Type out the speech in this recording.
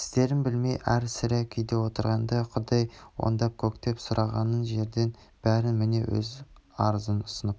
істерін білмей әр-сәрі күйде отырғанда құдай оңдап көктен сұрағанын жерден беріп міне өз арызын ұсынып